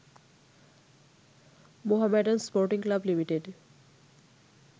Mohammedan sporting club limited